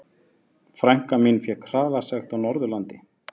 Frænka mín fékk hraðasekt á Norðurlandi.